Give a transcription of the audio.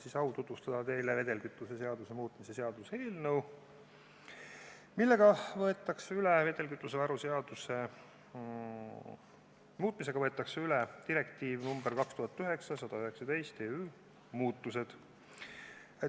Mul on au tutvustada teile vedelkütuse seaduse muutmise seaduse eelnõu, millega võetakse üle direktiivi nr 2009/119/EÜ muudatused.